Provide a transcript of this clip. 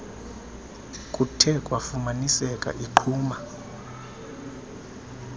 kuthe kwafumaniseka iqhuma